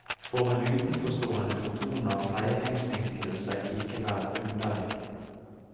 For en utenforstående fortoner feiringsvinklingen seg likevel underlig.